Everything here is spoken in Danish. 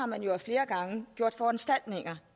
man jo af flere gange foranstaltninger